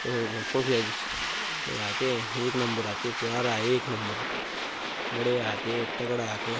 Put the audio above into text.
पखिया में आके एक नंबर फुब्बारा एक नंबर